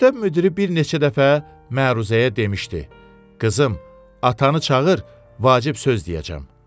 Məktəb müdiri bir neçə dəfə məruzəyə demişdi: Qızım, atanı çağır, vacib söz deyəcəm.